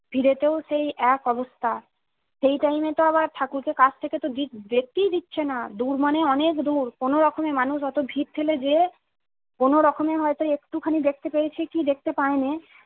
ভিড়ে তো সেই এক অবস্থা সেই টাইমে তো আবার ঠাকুর কে কাছথেকে দেখতেই দিচ্ছেনা দূর মানে অনেক দূর কোনো রোকমে মানুষ অতো ভীড়ঠেলে যেয়ে কোনো রকমে হয়তো একটুখানি দেখতে পেয়েছি কি দেখতে পাইনি।